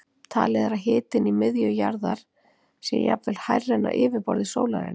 Talið er að hitinn í miðju jarðar sé jafnvel hærri en á yfirborði sólarinnar.